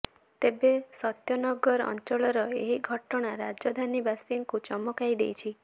ତେବେ ସତ୍ୟନଗର ଅଂଚଳର ଏହି ଘଟଣା ରାଜଧାନୀବାସୀଙ୍କୁ ଚମକାଇ ଦେଇଛି